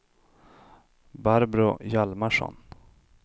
Barbro Hjalmarsson